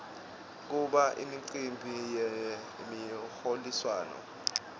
kuba imicimbi yemiholiswano